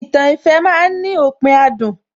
Ìtàn ìfẹ́ ma ń ní òpin adùn